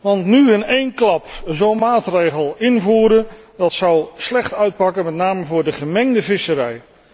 Want nu in één klap zo'n maatregel invoeren, dat zal slecht uitpakken, met name voor de gemengde visserij.